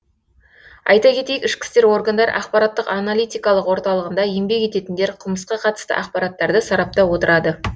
айта кетейік ішкі істер органдары ақпараттық аналитикалық орталығында еңбек ететіндер қылмысқа қатысты ақпараттарды сараптап отырады